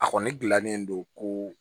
A kɔni gilannen don ko